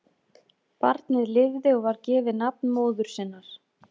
Barnið lifði og var gefið nafn móður sinnar.